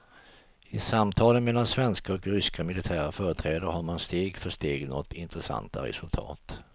I samtalen mellan svenska och ryska militära företrädare har man steg för steg nått intressanta resultat.